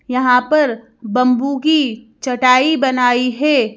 यहां पर बंम्बू की चटाई बनाई है।